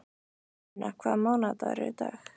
Una, hvaða mánaðardagur er í dag?